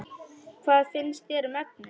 Hvað finnst þér um efnið?